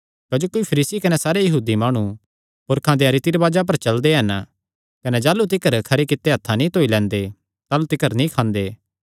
क्जोकि फरीसी कने सारे यहूदी माणु पुरखां देयां रीति रिवाजां पर चलदे हन कने जाह़लू तिकर खरी कित्ते हत्थां नीं धोई लैंदे ताह़लू तिकर नीं खांदे